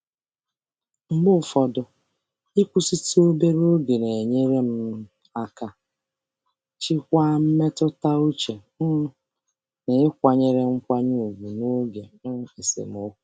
Mgbe ụfọdụ, ịnwe ntakịrị oge izu ike na-enyere aka jikwaa jikwaa mmetụta uche ma nọgide na-enwe nkwanye ùgwù n’oge esemokwu.